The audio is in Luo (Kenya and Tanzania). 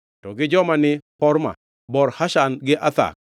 to gi joma ni Horma, Bor Ashan gi Athak